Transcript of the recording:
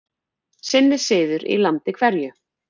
Sinn er siður í landi hverju.